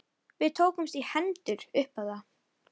Við tókumst í hendur upp á það.